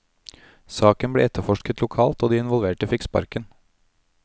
Saken ble etterforsket lokalt, og de involverte fikk sparken.